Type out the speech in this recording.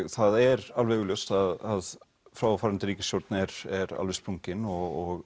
það er alveg augljóst að fráfarandi ríkisstjórn er er alveg sprungin og